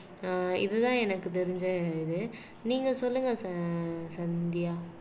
ஆஹ் இதுதான் எனக்கு தெரிஞ்ச இது நீங்க சொல்லுங்க ச சந்தியா